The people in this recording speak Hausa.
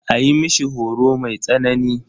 A yi mishi horo mai tsanani.